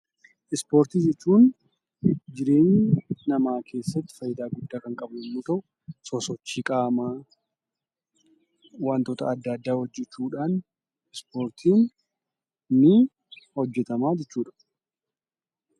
Ispoortii jechuun jireenya namaa keessatti faayidaa guddaa kan qabu yoo ta’u, sosochii qaamaa, wantoota adda addaa hojjechuu, ta’uudhaan ispoortiin ni hojjetama jechuudha.